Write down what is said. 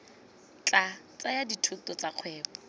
tla tsaya dithuto tsa kgwebo